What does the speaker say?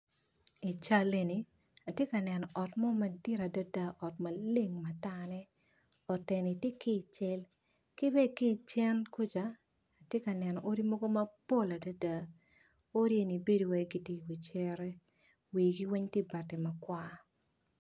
I cal eni, ati ka neno ot mo madit adada, ot maleng matane ot eni ti ki cen, kibe ki i cen kuja, ati ka neno ot mogo mapol adada, odi eni bedo wai giti i wi cere wigi weny ti bati matar.